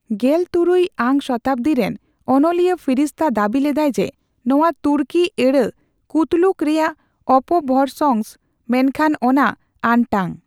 ᱜᱮᱞᱛᱩᱨᱩᱭ ᱟᱝ ᱥᱚᱛᱟᱵᱫᱤ ᱨᱮᱱ ᱚᱱᱚᱞᱤᱭᱟᱹ ᱯᱷᱤᱨᱤᱥᱛᱟ ᱫᱟᱵᱤ ᱞᱮᱫᱟᱭ ᱡᱮ ᱱᱚᱣᱟ ᱛᱩᱨᱠᱤ ᱟᱹᱲᱟᱹ 'ᱠᱩᱛᱞᱩᱠ' ᱨᱮᱭᱟᱜ ᱚᱯᱚᱵᱷᱚᱨᱚᱥᱝᱥᱚ, ᱢᱮᱱᱠᱷᱟᱱ ᱚᱱᱟ ᱟᱱᱴᱟᱝ ᱾